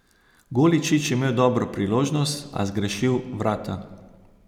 Goličič imel dobro priložnost, a zgrešil vrata.